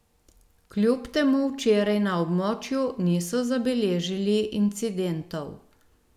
Kljub temu včeraj na območju niso zabeležili incidentov.